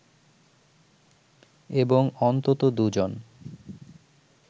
এবং অন্তত দুজন